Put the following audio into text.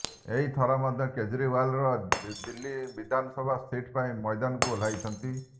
ଏହି ଥର ମଧ୍ୟ କେଜରିଓ୍ୱାର ନୂଆଦିଲ୍ଲୀ ବିଧାନସଭା ସିଟ୍ ପାଇଁ ମୈଦାନକୁ ଓହ୍ଲାଇଛନ୍ତି